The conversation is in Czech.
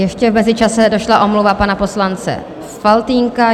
Ještě v mezičase došla omluva pana poslance Faltýnka.